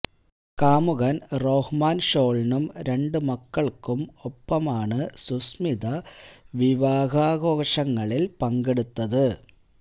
കാമുകന് റോഹ്മാന് ഷോളിനും രണ്ട് മക്കൾക്കും ഒപ്പമാണ് സുസ്മിത വിവാഹാഘോഷങ്ങളിൽ പങ്കെടുത്തത്